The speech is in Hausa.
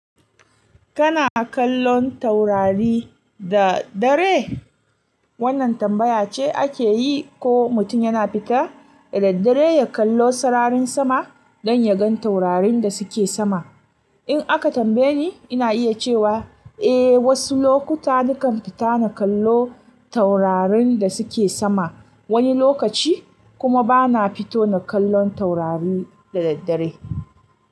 Kana kallon taurari da dare? Wannan tambaya ce ake yi ko mutum yana fita da daddare ya kallo sararin sama don ya gan taurarin da suke sama. In aka tambaye ni, ina iya cewa eh wasu lokuta nakan fita na kallo taurarin da suke sama wani lokaci kuma bana fito na kallon taurari da daddare.